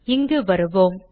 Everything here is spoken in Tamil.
இங்கு வருவோம்